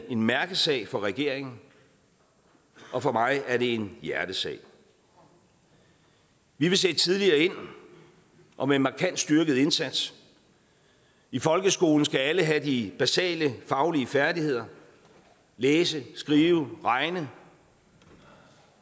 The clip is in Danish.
en mærkesag for regeringen og for mig er det en hjertesag vi vil sætte tidligere ind og med en markant styrket indsats i folkeskolen skal alle have de basale faglige færdigheder læse skrive og regne